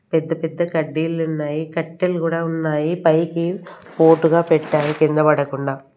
పెద్ద పెద్ద కడ్డీలు ఉన్నాయి కట్టెలు కూడా ఉన్నాయి పైకి పోటుగా పెట్టారు కింద పడకుండా.